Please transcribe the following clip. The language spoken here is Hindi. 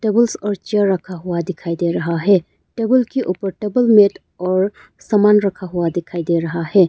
टेबल्स और चेयर रखा हुआ दिखाई दे रहा है टेबल के ऊपर टेबल मैट और समान रखा हुआ दिखाई दे रहा है।